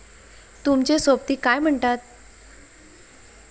तुमचे सोबती काय म्हणतात